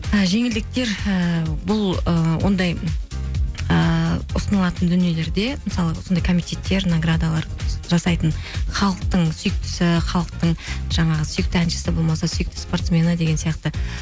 і жеңілдіктер ііі бұл ы ондай ыыы ұсынылатын дүниелерде мысалы осындай комитеттер наградалар жасайтын халықтың сүйіктісі халықтың жаңағы сүйікті әншісі болмаса сүйікті спортмені деген сияқты